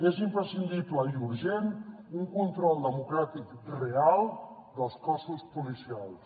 és imprescindible i urgent un control democràtic real dels cossos policials